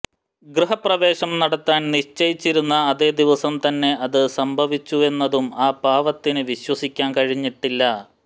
ഗൃഹപ്രവേശം നടത്താൻ നിശ്ചയിച്ചിരുന്ന അതേ ദിവസം തന്നെ അത് സംഭവിച്ചുവെന്നതും ആ പാവത്തിന് വിശ്വസിക്കാൻ കഴിഞ്ഞിട്ടില്ല